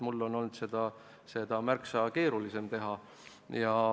Minul on olnud seda märksa keerulisem teha.